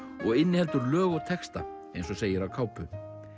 og inniheldur lög og texta eins og segir á kápu